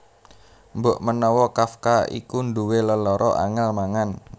Mbokmenawa Kafka iku nduwé lelara angèl mangan